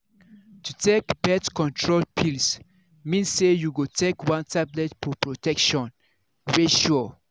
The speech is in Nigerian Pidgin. to take birth control pills mean say you go take one tablet for protection wey sure.